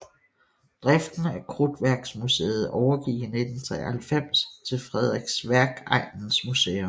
Driften af Krudtværksmuseet overgik i 1993 til Frederiksværkegnens Museum